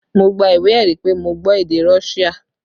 Mo gba ìwé ẹ̀rí pé mo gbọ́ èdè Russia